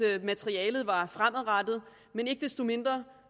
at materialet var fremadrettet men ikke desto mindre